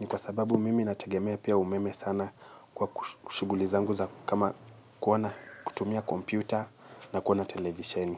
Ni kwa sababu mimi natagemea pia umeme sana kwa kushuguli zao kama kuwona kutumia kompyuta na kuona televisheni.